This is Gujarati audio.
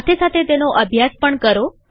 સાથે સાથે તેનો અભ્યાસ પણ કરો